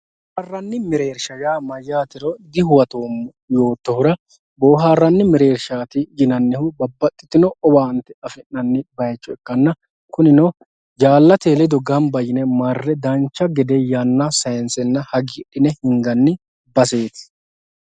boohaarranni mereersha yaa mayyaatero dihuwatoommo yoottohura boohaarranni mereershaati yinannihu babbaxxitino owaante afi'nanni bayiicho ikkanna kunino jaallate ledo ganba yine marre dancha gede yanna sayiinsenna hagiidhine hinganni baseeti.